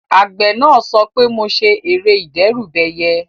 Àgbẹ̀ náà sọ pé "mo ṣe ère ìdẹ́rùbẹyẹ"